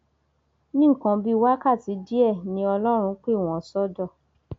ní nǹkan bíi wákàtí díẹ ni ọlọrun pè wọn sódò